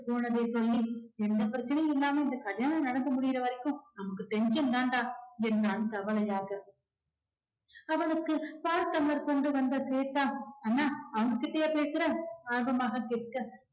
போனதை சொல்லி எந்த பிரச்சனையும் இல்லாம இந்த கல்யாணம் நடந்து முடிகிற வரைக்கும் நமக்கு tension தாண்டா என்றான் கவலையாக அவனுக்கு பால் tumbler கொண்டு வந்த ஸ்வேதா அண்ணா அவங்க கிட்டயா பேசுற ஆர்வமாக கேட்க